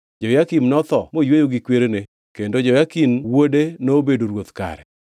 Jehoyakim notho moyweyo gi kwerene, kendo Jehoyakin wuode nobedo ruoth kare.